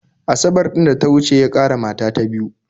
Asabar ɗin da ta wuce ya ƙara mata ta biyu